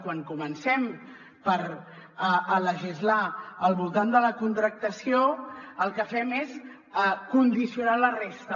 quan comencem a legislar al voltant de la contractació el que fem és condicionar la resta